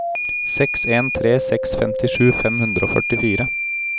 seks en tre seks femtisju fem hundre og førtifire